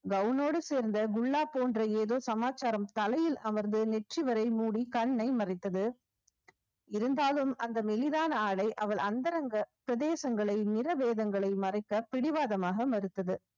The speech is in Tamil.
கவுனோட சேர்ந்த குல்லா போன்ற ஏதோ சமாச்சாரம் தலையில் அமர்ந்து நெற்றி வரை மூடி கண்ணை மறைத்தது இருந்தாலும் அந்த மெலிதான ஆடை அவள் அந்தரங்க பிரதேசங்களை நிற வேதங்களை மறைக்க பிடிவாதமாக மறுத்தது